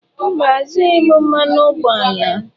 Mba, azụghị m mmanụ ụgbọala.